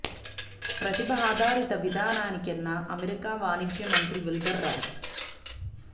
ప్రతిభ ఆధారిత విధానానికేనన్న అమెరికా వాణిజ్య మంత్రి విల్బర్ రాస్